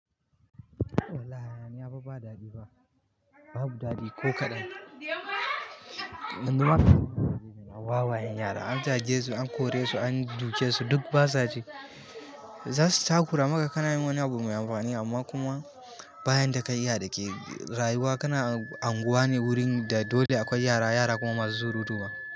Lallai, hayaniya fa ba daɗi ba. Babu daɗi ko kaɗan. Wawayen yara an jage su, an kore su, an duke su duk ba sa ji. Zasu takura maka kana yin wani abu mai amfani amma kuma bayan da ka yi iya da ke rayuwa kana unguwa ne wurin da dole akwai yara, yara kuma masu surutu ma.